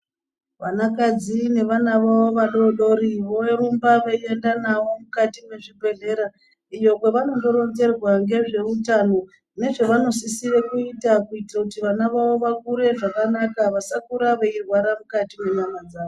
Vanakadzi nevana vavo vadodori vorumba veienda navo mukati mwezvibhedhlera iyo kwavanondoronzerwa ngezveutano nezvavanosisire kuita kuitire kuti vana vavo vakure zvakanaka vasakura veirwara mukati menyama dzavo.